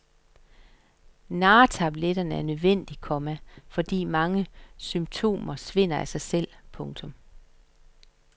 Narretabletterne er nødvendige, komma fordi mange symptomer svinder af sig selv. punktum